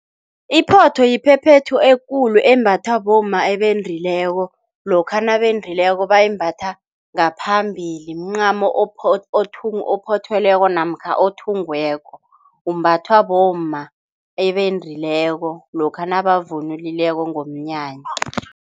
Iphotho yiphephethu ekulu embathwa bomma ebendileko, lokha nakendileko bayimbatha ngaphambili, mncamo ophothelweko namkha othungiweko. Umbathwa bomma ebendileko lokha nabavunulileko ngomnyanya.